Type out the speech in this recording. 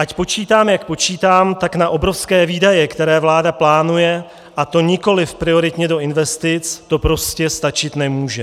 Ať počítám, jak počítám, tak na obrovské výdaje, které vláda plánuje, a to nikoliv prioritně do investic, to prostě stačit nemůže.